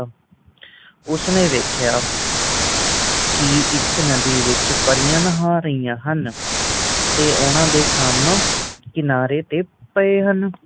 ਉਸਨੇ ਵੇਖਿਆ ਕਿ ਇੱਕ ਨਦੀ ਵਿੱਚ ਪਰੀਆਂ ਨਹਾ ਰਹੀਆਂ ਹਨ ਉਨ੍ਹਾਂ ਦੇ ਖੱਬ ਕਿਨਾਰੇ ਪਏ ਹਨ ਹੰਸ